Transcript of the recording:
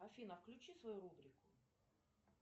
афина включи свою рубрику